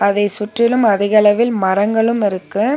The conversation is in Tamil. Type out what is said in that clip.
அதை சுற்றிலும் அதிக அளவில் மரங்களும் இருக்கு.